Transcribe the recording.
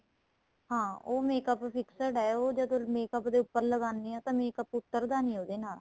ਹਾਂ ਉਹ makeup ਵੀ fixed ਏ ਉਹ ਜਦ makeup ਦੇ ਉੱਪਰ ਲਗਾਣੇ ਹਾਂ ਤਾਂ makeup ਉੱਤਰ ਦਾ ਨਹੀਂ ਉਹਦੇ ਨਾਲ